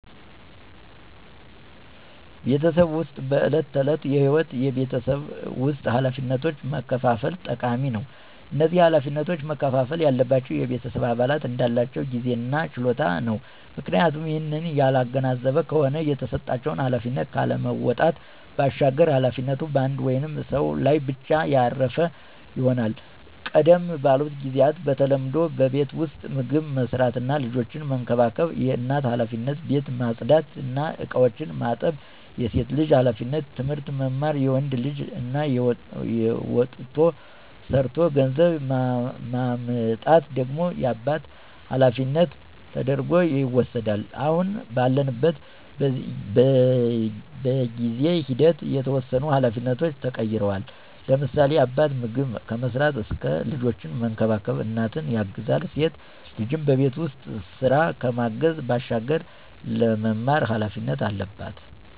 በቤተሰብ ዉስጥ በዕለት ተዕለት ህይወት የቤት ውስጥ ኃላፊነቶችን መከፋፈል ጠቃሚ ነው። እነዚህ ኃላፊነቶች መከፍፈል ያለባቸው የቤተሰብ አባላት እንዳላቸው ጊዜ እና ችሎታ ነው፤ ምክንያቱም ይህንን ያላገናዘበ ከሆነ የተሰጣቸውን ኃላፊነት ካለመወጣት ባሻገር ኃላፊነቱ በአንድ ወይም ሰው ላይ ብቻ ያረፈ ይሆናል። ቀደም ባሉት ጊዚያት በተለምዶ በቤት ዉስጥ ምግብ መስራት እና ልጆችን መንከባከብ የእናት ኃላፊነት፣ ቤት ማፅዳት እና እቃዎችን ማጠብ የሴት ልጅ ኃላፊነት፣ ትምህርት መማር የወንድ ልጅ እና ወጥቶ ሠርቶ ገንዘብ ማምጣት ደግሞ የአባት ኃላፊነት ተደርጐ ይወስዳል። አሁን ባለንበት በጊዜ ሂደት የተወሰኑ ኃላፊነቶች ተቀይረዋል፤ ለምሳሌ፦ አባት ምግብ ከመስራት እስከ ልጆችን መንከባከብ እናትን ያግዛል፣ ሴት ልጅም በቤት ውስጥ ስራ ከማገዝ ባሻገር ለመማር ኃላፊነት አለባት።